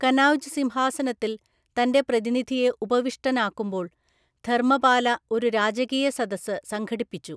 കനൗജ് സിംഹാസനത്തിൽ തൻ്റെ പ്രതിനിധിയെ ഉപവിഷ്ടനാക്കുമ്പോൾ ധർമ്മപാല ഒരു രാജകീയസദസ്സ് സംഘടിപ്പിച്ചു.